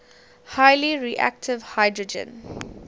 highly reactive hydrogen